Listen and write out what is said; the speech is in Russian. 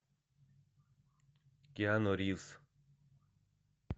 киану ривз